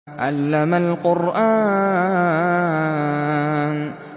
عَلَّمَ الْقُرْآنَ